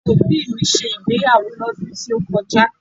Àwọn òbí mi ṣe ìgbéyàwó lọ́dún tí ó kọjá